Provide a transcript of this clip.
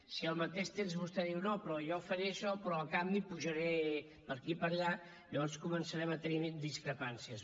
si al mateix temps vostè diu no però jo faré això però a canvi apujaré per aquí i per allà llavors començarem a tenir discrepàncies